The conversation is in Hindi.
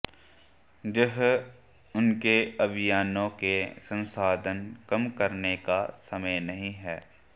यह उनके अभियानों के संसाधन कम करने का समय नहीं है